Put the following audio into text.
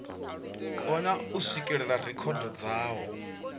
kona u swikelela rekhodo dzawo